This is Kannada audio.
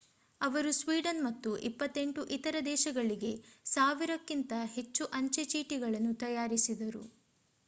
ಅವರು ಸ್ವೀಡನ್ ಮತ್ತು 28 ಇತರ ದೇಶಗಳಿಗೆ 1,000 ಕ್ಕಿಂತ ಹೆಚ್ಚು ಅಂಚೆ ಚೀಟಿಗಳನ್ನು ತಯಾರಿಸಿದರು